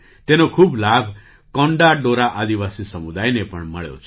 તેનો ખૂબ લાભ કોંડા ડોરા આદિવાસી સમુદાયને પણ મળ્યો છે